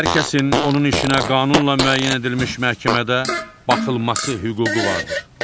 Hər kəsin onun işinə qanunla müəyyən edilmiş məhkəmədə baxılması hüququ vardır.